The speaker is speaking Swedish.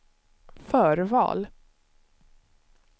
förval